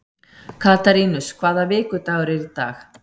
Katarínus, hvaða vikudagur er í dag?